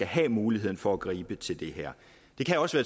have mulighed for at gribe til det her det kan også